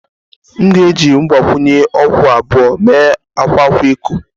M ga-eji mgbakwunye okwu abụọ mee akwa akwa eko